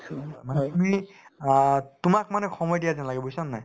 মানে তুমি অ তোমাক মানে সময় দিয়া যেন লাগে বুজিছানে নাই